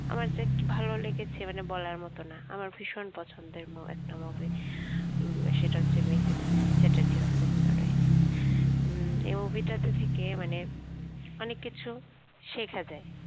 আমার যে কি ভালো লেগেছে মানে বলার মতো না। আমার ভীষণ পছন্দের মো একটা movie উম সেটা হচ্ছে মিসেস চ্যাটার্জি ভার্সেস নরওয়ে উম এই movie টাতে থেকে অনেক কিছু শেখা যায়।